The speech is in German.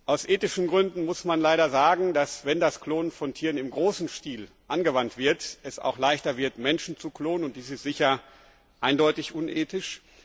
Aus ethischen Gründen muss man leider sagen, dass, wenn das Klonen von Tieren im großen Stil angewandt wird, es auch leichter wird, Menschen zu klonen, und dies ist sicher eindeutig unethisch.